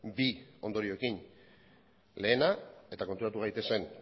bi ondorioekin lehena eta konturatu gaitezen